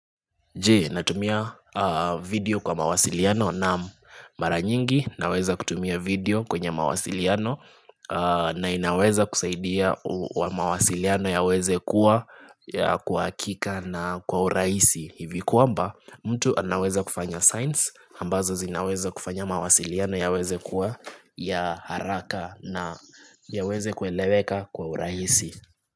Natumia video kwa mawasiliano na mara nyingi naweza kutumia video kwenye mawasiliano na inaweza kusaidia wa mawasiliano yaweze kuwa kwa hakika na kwa urahisi hivi kwamba mtu anaweza kufanya signs ambazo zinaweza kufanya mawasiliano yaweze kuwa ya haraka na yaweze kueleweka kwa urahisi.